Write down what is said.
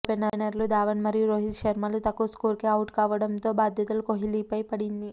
ఓపెనర్లు ధావన్ మరియు రోహిత్ శర్మలు తక్కువ స్కోర్కే ఔట్ అవ్వడంతో బాధ్యత కోహ్లీపై పడింది